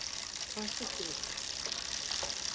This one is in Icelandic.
Hvaða stykki viltu?